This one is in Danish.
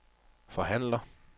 forhandler